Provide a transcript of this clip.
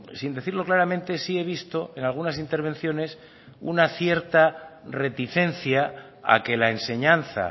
sin decirlo claramente sí he visto en algunas intervenciones una cierta reticencia a que la enseñanza